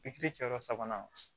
cɛ yɔrɔ sabanan